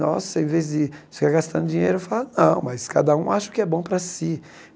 Nossa, ao invés de ficar gastando dinheiro, eu falava, não, mas cada um acha o que é bom para si.